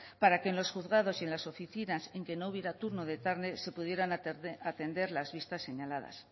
para que en los juzgados y en las oficinas en que no hubiera turno de tarde se pudieran atender las vistas señaladas